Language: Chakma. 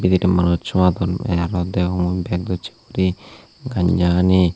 pijedi manuchu adonney tey aro degong bag dosse guri gamsa hani.